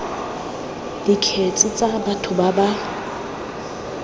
dikgetse tsa batho ba ba